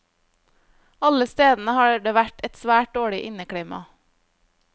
Alle stedene har det vært et svært dårlig inneklima.